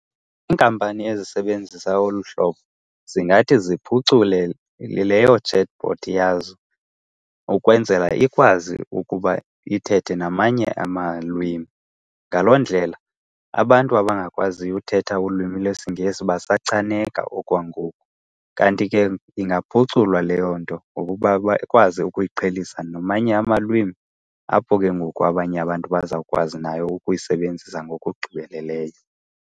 Iinkampani ezisebenzisa olu hlobo zingathi ziphucule leyo chatbot yazo ukwenzela ikwazi ukuba ithethe namanye amalwimi. Ngaloo ndlela abantu abangakwaziyo uthetha ulwimi lesiNgesi basachaneka okwangoku. Kanti ke ingaphuculwa leyo nto ngokuba bakwazi ukuyiqhelisa namanye amalwimi, apho ke ngoku abanye abantu bazawukwazi nayo ukuyisebenzisa ngokugqibeleleyo.